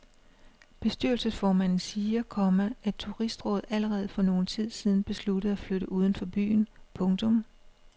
Bestyrelsesformanden siger, komma at turistrådet allerede for nogen tid siden besluttede at flytte uden for byen. punktum